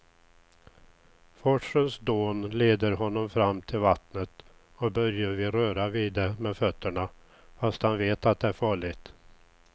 Forsens dån leder honom fram till vattnet och Börje vill röra vid det med fötterna, fast han vet att det är farligt.